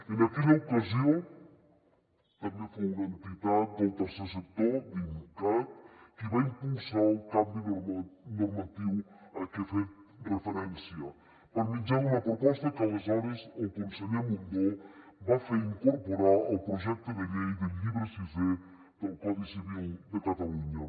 en aquella ocasió també fou una entitat del tercer sector dincat qui va impulsar el canvi normatiu a què he fet referència per mitjà d’una proposta que aleshores el conseller mundó va fer incorporar al projecte de llei del llibre sisè del codi civil de catalunya